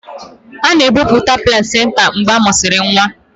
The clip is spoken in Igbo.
A na-ebupụta placinta mgbe a mụsịrị nwa.